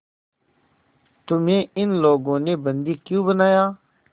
तुम्हें इन लोगों ने बंदी क्यों बनाया